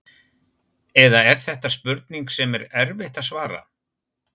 Eða er þetta spurning sem er erfitt að svara?